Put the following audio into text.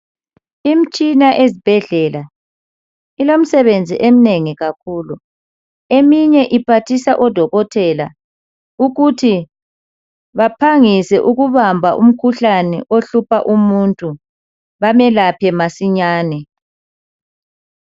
Imtshina ezibhedlela ilemsebenzi eminengi kakhulu. Eminye iphathisa odokotela ukuthi baphangise ukubamba umkhuhlane ohlupha umuntu bamelaphe masinyane.